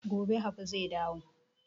Gobe habu zai dawo